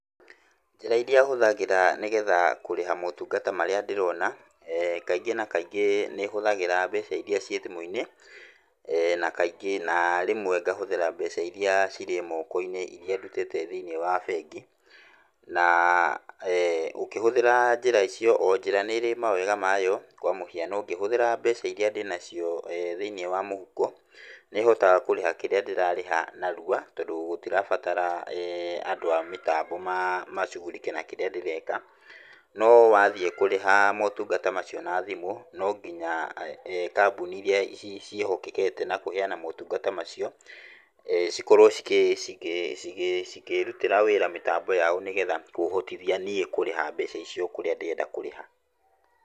Njĩra ĩrĩa hũthagĩra nĩgetha kũrĩha motungata marĩa ndĩrona, kaingĩ na kaingĩ nĩhũthagĩra mbeca iria ciĩ thimũ-inĩ na kaingĩ, na rĩmwe ngahũthĩra mbeca iria cirĩ moko-inĩ iria ndutĩte thĩiniĩ wa bengi. Na ũkĩhũthĩra njĩra icio o njĩra nĩrĩ mawega mayo, kwa mũhiano ngĩhũthĩra mbeca iria ndĩnacio thĩiniĩ wa mũhuko nĩhotaga kũrĩha kĩrĩa ndĩrarĩha narua tondũ gũtirabatara andũ a mĩtambo ma, macugurike na kĩrĩa ndĩreka, no wathiĩ kũrĩha motungata macio na thimũ nonginya kambuni iria ciĩ, ciĩhokekete na kũheana motungata macio, cikorwo cikĩ, cikĩ, cigĩ, cikĩrutĩra wĩra mĩtambo yao nĩgetha kũhotithia niĩ kũrĩha mbeca icio kũrĩa ndĩrenda kũrĩha.